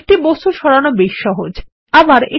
একটি বস্তু সরানো বেশ সহজ তাই নয় কি